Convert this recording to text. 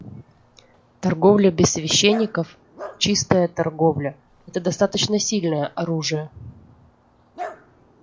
торговля без священников чистая торговля это достаточно сильное оружие